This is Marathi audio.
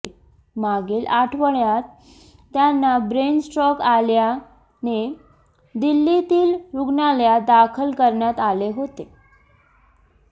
मागील आठवड्यात त्यांना ब्रेन स्ट्रोक आल्याने दिल्लीतील रुग्णालयात दाखल करण्यात आले होते